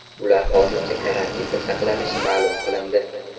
Ular hozircha karantinda saqlanishi ma’lum qilindi.